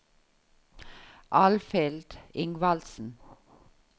Alfhild Ingvaldsen